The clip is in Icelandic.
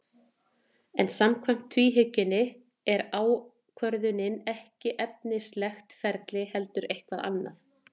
En samkvæmt tvíhyggjunni er ákvörðunin ekki efnislegt ferli heldur eitthvað annað.